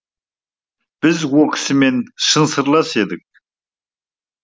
біз о кісімен шын сырлас едік